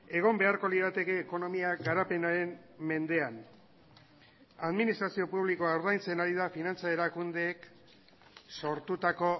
egon beharko lirateke ekonomia garapenaren mendean administrazio publikoa ordaintzen ari da finantza erakundeek sortutako